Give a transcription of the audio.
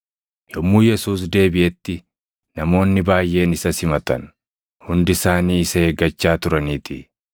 Yommuu Yesuus deebiʼetti namoonni baayʼeen isa simatan. Hundi isaanii isa eeggachaa turaniitii.